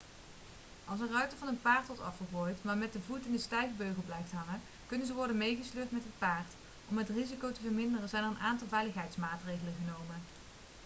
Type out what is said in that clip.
als een ruiter van een paard wordt afgegooid maar met de voet in de stijgbeugel blijft hangen kunnen ze worden meegesleurd met het paard om het risico te verminderen zijn er een aantal veiligheidsmaatregelen genomen